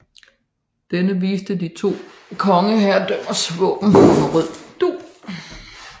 Denne viste de to hertugdømmers våben på rød dug